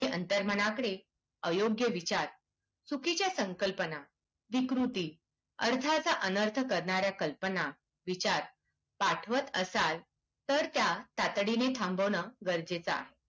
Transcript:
अंतर्मनमध्ये अयोग्य विचार चुकीच्या संकल्पना विकृती अर्थाच्या अनर्थ करणार्‍या कल्पना विचार पाठवत असाल तर त्या तातडीने थांबवणे गरजेचं आहे